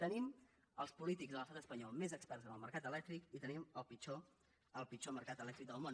tenim els polítics de l’estat espanyol més experts en el mercat elèctric i tenim el pitjor mercat elèctric del món